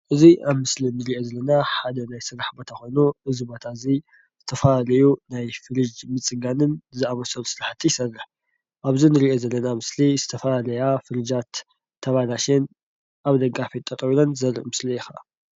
እዙይ ኣብ ምስሊ እንርእዮ ዘለና ሓደ ናይ ስራሕ ቦታ ኮይኑ እዙይ ቦታ እዙይ ዝተፈላለዩ ናይ ፍሩጅ ምፅጋንን ዝኣምሰሉ ስራሕትታት ይሰርሕ። ኣብ እዙይ እንርእዮ ዘለና ምስሊ ዝተፈላለያ ፍሩጃት ተባላሽየን ኣብ ደገ ኣፍየት ጠጠው ዘርኢ ምስሊ እዩ ከዓ።